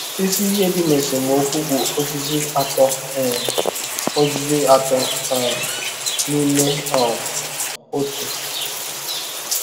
Isi ihe dị n’esemokwu bụ ozizi Atọ um ozizi Atọ um n’Ime um Otu.